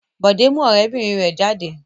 Bọ̀dé mú ọ̀rẹ́bìnrin rẹ̀ jáde.